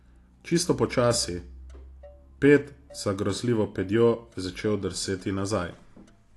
Čisto počasi, ped za grozljivo pedjo je začel drseti nazaj.